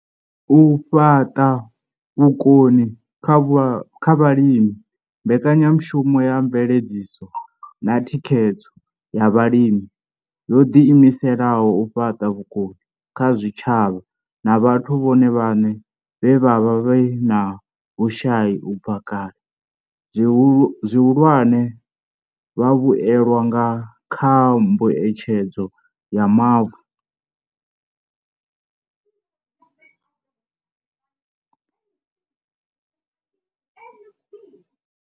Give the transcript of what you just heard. U fhaṱa vhukoni kha vhalimi Mbekanyamushumo ya Mveledziso na Thikhedzo ya Vhalimi yo ḓiimisela u fhaṱa vhukoni kha zwitshavha na vhathu vhone vhaṋe vhe vha vha vhe na vhushai u bva kale, zwihulwane, vhavhuelwa kha Mbuedzedzo ya Mavu.